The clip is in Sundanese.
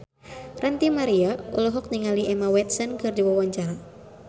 Ranty Maria olohok ningali Emma Watson keur diwawancara